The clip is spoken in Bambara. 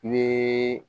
I